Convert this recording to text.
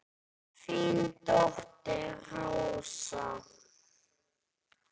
Þín dóttir Rósa.